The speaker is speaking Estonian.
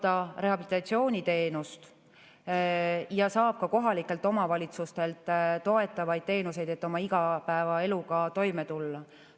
Ta saab rehabilitatsiooniteenust ja saab ka kohalikelt omavalitsustelt toetavaid teenuseid, et oma igapäevaeluga toime tulla.